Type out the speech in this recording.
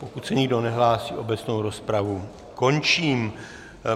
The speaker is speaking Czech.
Pokud se nikdo nehlásí, obecnou rozpravu končím.